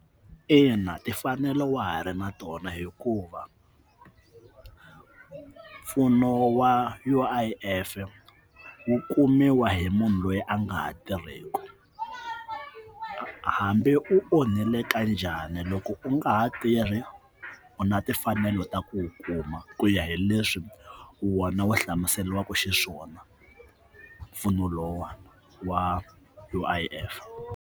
Ina timfanelo wa ha ri na tona hikuva mpfuno wa U_I_Fwu kumiwa hi munhu loyi a nga ha tirhisiwi hambi u onhelaka njhani loko u nga ha tirhi u na timfanelo ta ku u kuma ku ya hi leswi u one wo hlamuseriwaka xiswona mpfuno lowa wa U_I_F.